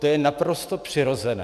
To je naprosto přirozené.